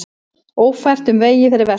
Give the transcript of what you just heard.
Ófært um vegi fyrir vestan